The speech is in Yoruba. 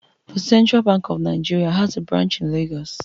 The Central Bank of Nigeria has a branch in Lagos